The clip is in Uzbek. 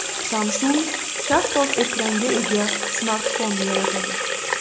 Samsung shaffof ekranga ega smartfon yaratadi.